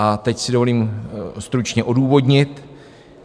A teď si dovolím stručně odůvodnit.